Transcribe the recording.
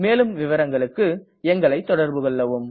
மேலும் விவரங்களுக்கு எங்களை தொடர்புகொள்ளவும்